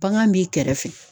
Bagan b'i kɛrɛfɛ